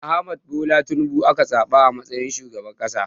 Ahmad Bola Tinubu aka zaɓa a matsayin shugaban ƙasa.